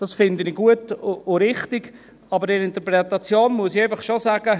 Das finde ich gut und richtig, aber in der Interpretation muss ich einfach schon sagen: